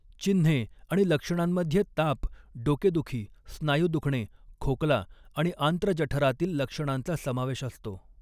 चिन्हे आणि लक्षणांमध्ये ताप, डोकेदुखी, स्नायू दुखणे, खोकला आणि आंत्र जठरातील लक्षणांचा समावेश असतो.